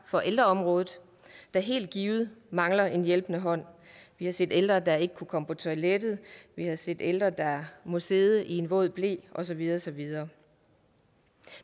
på ældreområdet der helt givet mangler en hjælpende hånd vi har set ældre der ikke kunne komme på toilettet vi har set ældre der må sidde i en våd ble og så videre og så videre